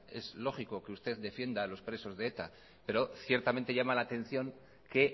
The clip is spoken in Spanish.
es lógico que usted defienda a los presos de eta pero ciertamente llama la atención que